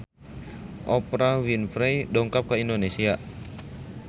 Oprah Winfrey dongkap ka Indonesia